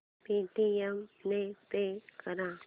Paytm ने pay कर